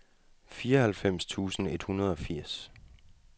fireoghalvfems tusind et hundrede og firs